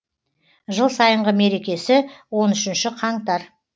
жыл сайынғы мерекесі он үшінші қаңтар